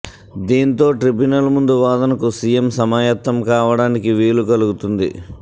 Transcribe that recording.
దీంతో ట్రిబ్యునల్ ముందు వాదనకు సిఎం సమాయత్తం కావడానికి వీలు కలుగుతుంది